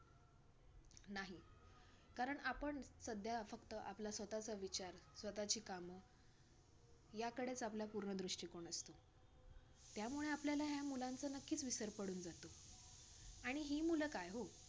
कारण आपण सध्या फक्त आपला स्वतःचा विचार, स्वतःची कामं याकडेच आपला पूर्ण दृष्टिकोन असतो, त्यामुळे आपल्याला ह्या मुलांचा नक्कीच विसर पडून जातो आणि हि मुलं काय हो